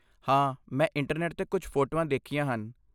ਹਾਂ, ਮੈਂ ਇੰਟਰਨੈੱਟ 'ਤੇ ਕੁਝ ਫੋਟੋਆਂ ਦੇਖੀਆਂ ਹਨ।